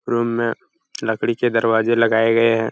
room में लकड़ी के दरवाजे लगाए गए हैं |